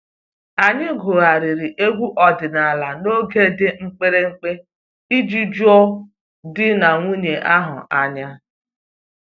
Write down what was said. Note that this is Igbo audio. Anyị gụgharịrị egwu ọdịnala n'oge dị mkpirikpi iji ju di na nwunye ahụ anya